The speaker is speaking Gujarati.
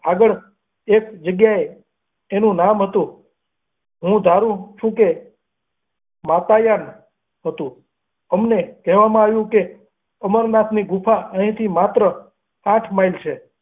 આગળ એક જગ્યાએ એનું નામ હતું હું ધારું છે કે માતાયાન હતું અમને કહેવામાં આવ્યું કે, અમરનાથની ગુફા અહીંથી માત્ર આઠ માઈલ છે.